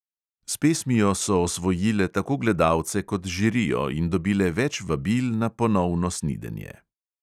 S pesmijo so osvojile tako gledalce kot žirijo in dobile več vabil na ponovno snidenje.